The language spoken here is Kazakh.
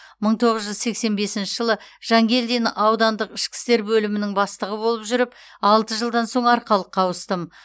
мың тоғыз жүз сексен бесінші жылы жанкелдин аудандық ішкі істер бөлімінің бастығы болып жүріп алты жылдан соң арқалыққа ауыстым